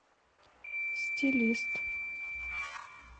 стилист